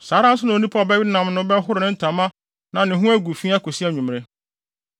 Saa ara nso na onipa a ɔbɛwe ne nam no bɛhoro ne ntama na ne ho agu fi akosi anwummere.